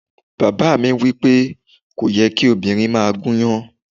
Bàbá mi wí pé, "kò yẹ kí obìnrin máa gúnyán."